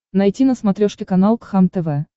найти на смотрешке канал кхлм тв